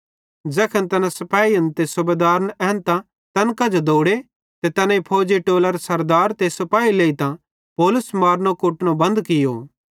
तैखन तैना सिपेहिन ते सूबेदारन एन्तां तैन कांजो दौड़ो ते तैनेईं फौजी टोलरे सरदारे ते सिपाही लेइतां पौलुस मारनो कुटनो बंद कियो